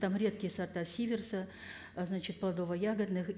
там редкие сорта сиверса а значит плодово ягодных